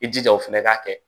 I jija o fana ka kɛ